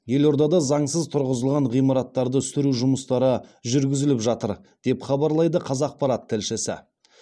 елордада заңсыз тұрғызылған ғимараттарды сүру жұмыстары жүргізіліп жатыр деп хабарлайды қазақпарат тілшісі